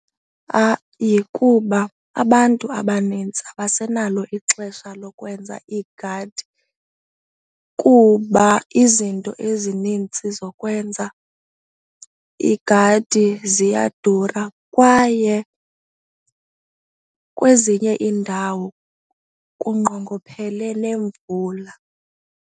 kuba abantu abanintsi abasenalo ixesha lokwenza iigadi kuba izinto ezinintsi zokwenza iigadi ziyadura kwaye kwezinye iindawo kunqongophele nemvula.